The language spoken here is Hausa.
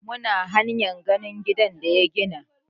Mun hanya zuwa ganin gidan da ya gina.